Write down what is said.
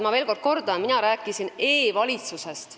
Ma ütlen veel kord, et mina rääkisin e-valitsusest.